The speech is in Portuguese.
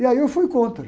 E aí eu fui contra.